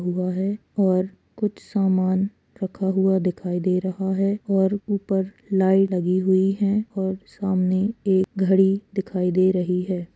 हुआ है और कुछ सामान रखा हुआ दिखाई दे रहा है और ऊपर लाइ लगी हुई है और सामने एक घड़ी दिखाई दे रही है।